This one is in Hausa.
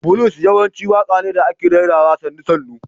Blues yawanci waƙa ne da ake rerawa sannu- sannu.